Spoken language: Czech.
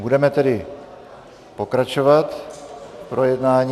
Budeme tedy pokračovat v projednávání.